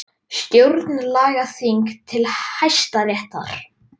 Stjórnlagaþing til Hæstaréttar